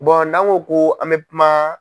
n'an ko ko an bɛ kuma.